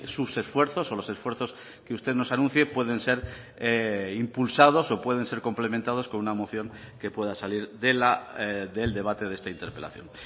sus esfuerzos o los esfuerzos que usted nos anuncie pueden ser impulsados o pueden ser complementados con una moción que pueda salir del debate de esta interpelación